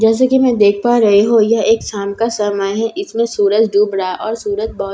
जैसे कि मैं देख पा रही हूं यह एक शाम का समय है इसमें सूरज डूब रहा और सूरज बहुत --